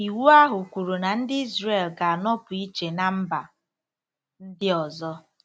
Iwu ahụ kwuru na ndị Izrel ga-anọpụ iche ná mba ndị ọzọ.